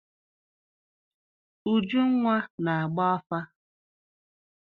Ujunwa na-agba afa.